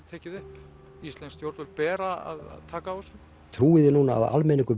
tekið upp íslensk stjórnvöld bera að taka á þessu trúið þið núna að almenningur